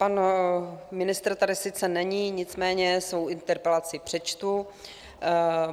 Pan ministr tady sice není, nicméně svou interpelaci přečtu.